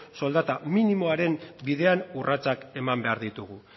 soldata minimoaren bidean urratsak eman behar ditugu